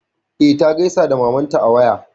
E, ta gaisa da mamanta ta waya.